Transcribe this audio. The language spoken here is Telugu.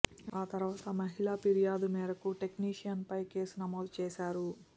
ఆ తర్వాత మహిళ ఫిర్యాదు మేరకు టెక్నిషియన్పై కేసు నమోదు చేశారు